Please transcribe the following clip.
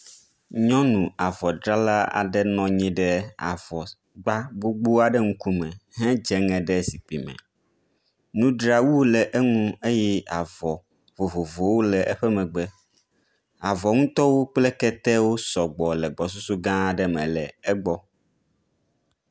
Nyɔnu avɔdzrala aɖe nɔ anyi ɖe avɔgba gbogbo aɖe ƒe ŋkume hedzeŋe ɖe zikpui me. Nudzrawu le eŋu eye avɔ vovovowo le eƒe megbe. Avɔ ŋutɔwo kple ketewo sɔgbɔ le gbɔsusu gã aɖe me le egbɔ.